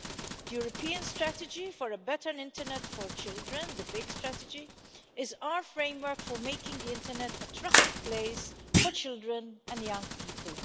The European strategy for a better internet for children the big strategy is our framework for making the internet a trusted place for children and young people.